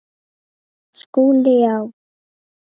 SKÚLI: Já!